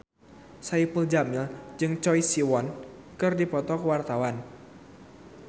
Saipul Jamil jeung Choi Siwon keur dipoto ku wartawan